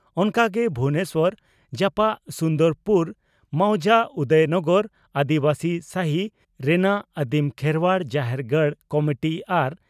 ᱚᱱᱠᱟ ᱜᱮ ᱵᱷᱩᱵᱚᱱᱮᱥᱚᱨ ᱡᱟᱯᱟᱜ ᱥᱩᱱᱫᱚᱨᱯᱩᱨ ᱢᱚᱣᱡᱟ ᱩᱫᱚᱭᱱᱚᱜᱚᱨ (ᱟᱹᱫᱤᱵᱟᱹᱥᱤ ᱥᱟᱦᱤ) ᱨᱮᱱᱟᱜ ᱟᱹᱫᱤᱢ ᱠᱷᱮᱨᱣᱟᱲ ᱡᱟᱦᱮᱨ ᱜᱟᱲ ᱠᱚᱢᱤᱴᱤ ᱟᱨ